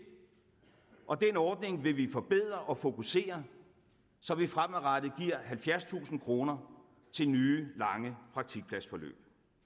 og den ordning vil vi forbedre og fokusere så vi fremadrettet giver halvfjerdstusind kroner til nye lange praktikpladsforløb